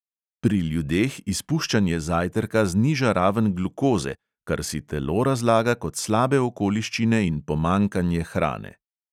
Pri ljudeh izpuščanje zajtrka zniža raven glukoze, kar si telo razlaga kot slabe okoliščine in pomanjkanje hrane.